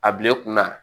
A bila i kunna